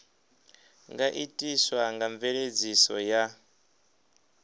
nga itiswa nga mveledziso ya